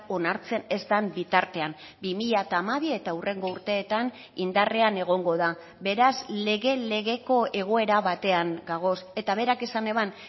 onartzen ez den bitartean bi mila hamabi eta hurrengo urteetan indarrean egongo da beraz lege legeko egoera batean gagoz eta berak esan eban